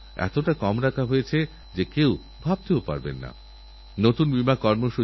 শুক্রাচার্যনীতিতে বলা হয়েছে নাস্তি মূলং অনৌষধং এরকম কোনও গাছ নেই যার ঔষধি গুণ নেই